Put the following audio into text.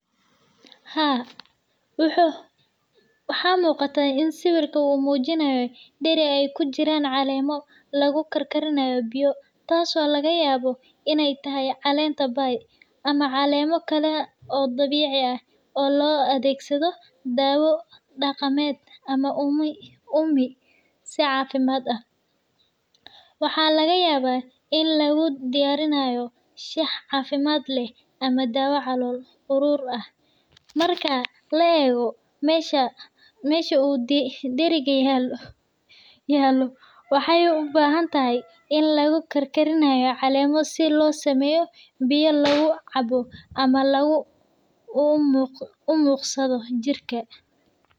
Haa, waxa muuqata in sawirka uu muujinayo dheri ay ku jiraan caleemo lagu karkarinayo biyo, taasoo laga yaabo inay tahay:Caleenta bay (Bay lea. Ama caleemo kale oo dabiici ah oo loo adeegsado daawo dhaqameed ama uumi si caafimaad ah .Waxaa laga yaabaa in lagu diyaarinayo shaah caafimaad leh ama daawo calool uruur ah. Marka la eego meesha uu dheriga yaallo , waxay u badan tahay in lagu karinaayo caleemo si loo sameeyo biyo lagu cabbo ama loogu umuuqsado jirka.